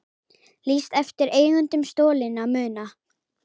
Lýst eftir eigendum stolinna muna